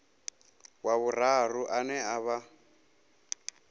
wa vhuraru ane a vha